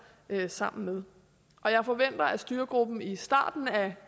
sammen med og jeg forventer at styregruppen i starten af